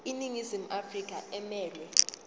iningizimu afrika emelwe